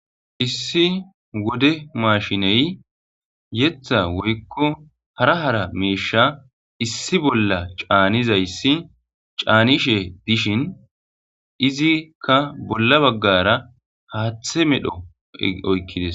Issi wode maashiney yetha woykko hara hara meesha issi bolla caanizayssi caanishe dishin izikka bolla baggara haaththe medho oykkides